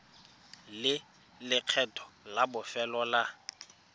le lekgetho la bofelo la